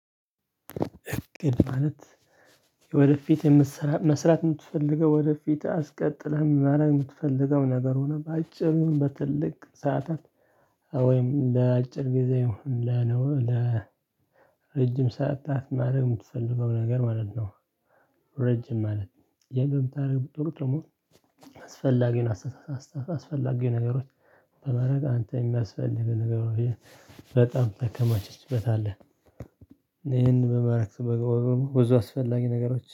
እቅድ ማለት የወደፊት የምትሰራ መስራት የምትፈልገው ወደፊት አስቀጥለህ ማረግ የምትፈልገው ነገር ሆኖ በአጭሩም በትልቅ ሰዓታት ወይም ለአጭር ጊዜ ለነው ለ ረጅም ሰዓታት ማድረግ የምትፈልገው ነገር ማለት ነው። ረጅም ማለት የምታደርግ ቁጥር ደግሞ አስፈላጊውን አስተሳሰብ አስፈላጊ ነገሮች በማረግ አንተ የሚያስፈልግህ ነገር በጣም ተከማችችበታለህ። ይሄንን በማረግ ብዙ አስፈላጊ ነገሮች